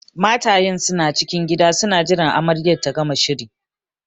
Matayen suna cikin gida suna jiran amaryar ta gama shiri